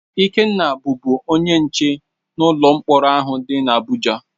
Ikenna bụ bụ onye nche n'ụlọ mkpọrọ ahụ dị n'Abụja.